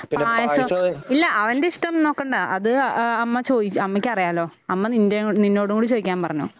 പായസം ഇല്ല അവൻ്റെ ഇഷ്ടം നോക്കണ്ട അത് ആ അമ്മ ചോയി അമ്മയ്ക്ക് അറിയാലോ അമ്മ നിൻ്റെ കൂടെ നിന്നോടുകൂടെ ചോദിക്കാൻ പറഞ്ഞു.